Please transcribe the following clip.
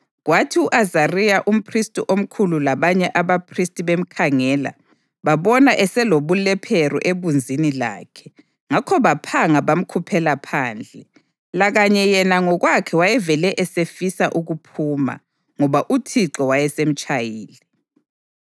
Kwathi u-Azariya umphristi omkhulu labanye abaphristi bemkhangela, babona eselobulephero ebunzini lakhe, ngakho baphanga bamkhuphela phandle. Lakanye yena ngokwakhe wayevele esefisa ukuphuma, ngoba uThixo wayesemtshayile.